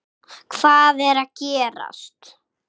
HVAÐ ER AÐ GERAST?